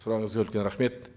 сұрағыңызға үлкен рахмет